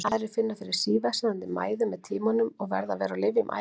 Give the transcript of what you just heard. Enn aðrir finna fyrir síversnandi mæði með tímanum og verða að vera á lyfjum ævilangt.